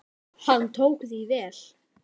Hann tók því vel.